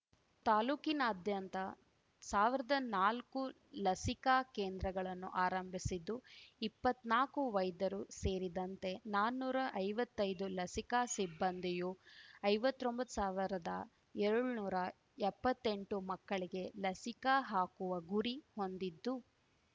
ತಾಲ್ಲೂಕಿನಾದ್ಯಂತ ಸಾವಿರ್ದಾನಾಲ್ಕು ಲಸಿಕಾ ಕೇಂದ್ರಗಳನ್ನು ಆರಂಭಿಸಿದ್ದು ಇಪ್ಪತ್ನಾಕು ವೈದ್ಯರು ಸೇರಿದಂತೆ ನಾನುರಾ ಐವತ್ತೈದು ಲಸಿಕಾ ಸಿಬ್ಬಂದಿಯೂ ಐವತ್ರೊಂಬತ್ ಸಾವಿರ್ದಾ ಎರಡ್ ನೂರಾ ಎಪ್ಪತ್ತೆಂಟು ಮಕ್ಕಳಿಗೆ ಲಸಿಕಾ ಹಾಕುವ ಗುರಿ ಹೊಂದಿದ್ದು